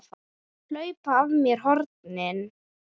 Hlaupa af mér hornin.